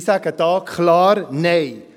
Ich sage da klar Nein.